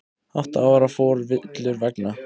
Átta ára fór villur vega